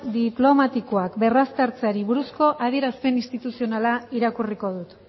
diplomatikoak berraztertzeari buruzko adierazpen instituzionala irakurriko dut